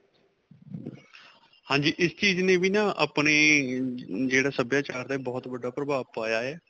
ਹਾਂਜੀ. ਇਸ ਚੀਜ਼ ਨੇ ਵੀ ਨਾ ਆਪਣੇ ਜਿਹੜਾ ਸਭਿਆਚਾਰ ਹੈ, ਬਹੁਤ ਵੱਡਾ ਪ੍ਰਭਾਵ ਪਇਆ ਹੈ.